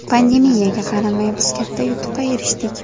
Pandemiyaga qaramay, biz katta yutuqqa erishdik.